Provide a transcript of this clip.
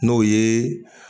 N'o yee